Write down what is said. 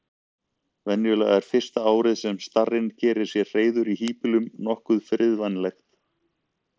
Venjulega er fyrsta árið sem starinn gerir sér hreiður í híbýlum nokkuð friðvænlegt.